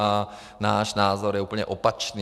A náš názor je úplně opačný.